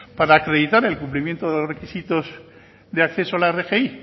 para acreditar el cumplimiento de los requisitos de acceso a la rgi